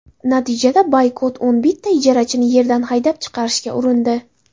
Natijada Boykot o‘n bitta ijarachini yerdan haydab chiqarishga urindi.